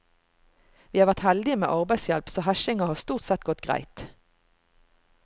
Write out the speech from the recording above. Vi har vært heldige med arbeidshjelp, så hesjinga har stort sett gått greit.